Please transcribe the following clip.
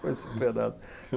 Foi superado.